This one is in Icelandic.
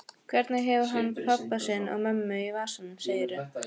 Hvernig hefur hann pabba sinn og mömmu í vasanum, segirðu?